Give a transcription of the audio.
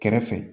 Kɛrɛfɛ